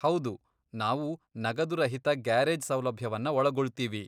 ಹೌದು, ನಾವು ನಗದುರಹಿತ ಗ್ಯಾರೇಜ್ ಸೌಲಭ್ಯವನ್ನ ಒಳಗೊಳ್ತೀವಿ.